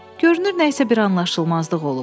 Görünür nə isə bir anlaşılmazlıq olub.